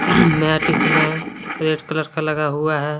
Mat इसमें red colour का लगा हुआ है।